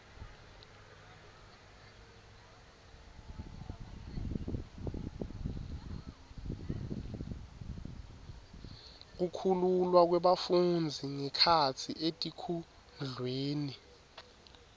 kukhululwa kwebafundzi ngekhatsi etikudlweni